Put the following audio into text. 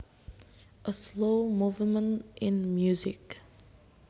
A slow movement in music